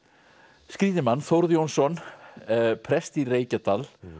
skrýtinn mann Þórð Jónsson prest í Reykjadal